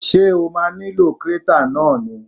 Ṣé o ma nílò krátà náà ni?